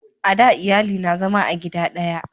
a da iyali na zama a gida daya